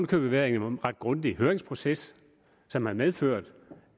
købet været en ret grundig høringsproces som har medført